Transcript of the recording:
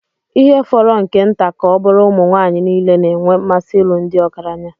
ihe fọrọ nke nta ka ọ bụrụ ụmụ nwanyị niile na-enwe mmasị ịlụ ndị ọgaranya